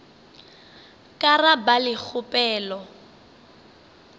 ka ra ba le kgopelo